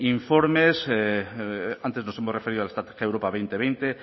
informes antes nos hemos referido a la estrategia europa dos mil veinte